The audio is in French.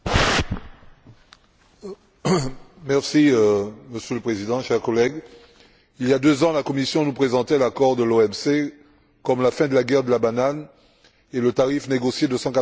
Monsieur le Président, chers collègues, il y a deux ans, la Commission nous présentait l'accord de l'OMC comme la fin de la guerre de la banane et le tarif négocié de 114 euros la tonne comme l'ultime concession qu'elle consentirait.